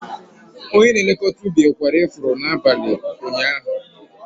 Onye na-elekọta ubi kwara ifuru n'abalị ụnyaahụ.